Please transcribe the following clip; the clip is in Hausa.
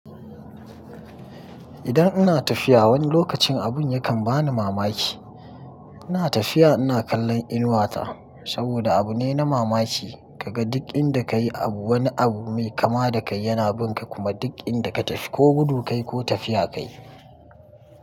Idan ina tafiya wani lokacin abun yakan bani mamaki. Ina tafiya ina kallon inuwa ta saboda abu ne na mamaki ka ga duk inda ka yi abu wani abu mai kama da kai yana bin ka kuma duk inda ka tafi ko gudu ka yi ko tafiya ka yi.